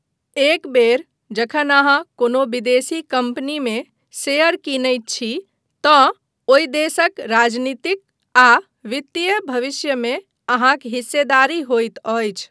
एक बेर जखन अहाँ कोनो विदेशी कम्पनीमे शेयर कीनैत छी तँ ओहि देशक राजनीतिक आ वित्तीय भविष्यमे अहाँक हिस्सेदारी होइत अछि।